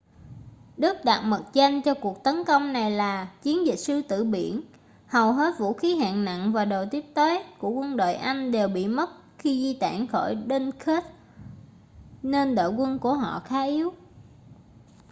đức đặt mật danh cho cuộc tấn công này là chiến dịch sư tử biển hầu hết vũ khí hạng nặng và đồ tiếp tế của quân đội anh đều bị mất khi di tản khỏi dunkirk nên đội quân của họ khá yếu